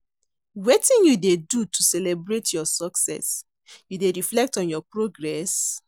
Wetin you dey do to celebrate your success, you dey reflect on your progress?